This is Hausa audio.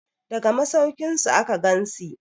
daga masaukinsu aka gansi